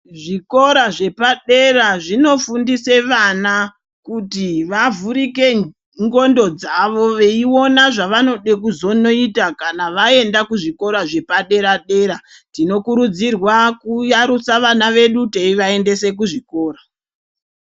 Zvikora zvepadera zvinofundise vana kuti vavhurike ngondo dzawo veiona zvavanode kuzonoita kana vaenda kuzvikora zvepadera dera tinokurudzirwa kuyarusa vana vedu teivaendese kuzvikora.